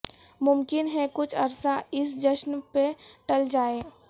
ممکن ہے کچھ عرصہ اس جشن پہ ٹل جائیں